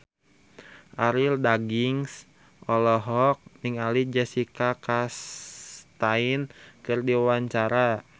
Arie Daginks olohok ningali Jessica Chastain keur diwawancara